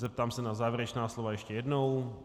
Zeptám se na závěrečná slova ještě jednou.